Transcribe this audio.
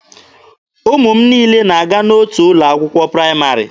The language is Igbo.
Ụmụ m niile na-aga n'otu ụlọ akwụkwọ praịmarị.